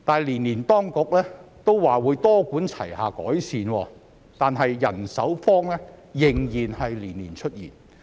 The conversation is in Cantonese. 即使當局每年都表示會多管齊下改善，但人手荒仍然年年出現。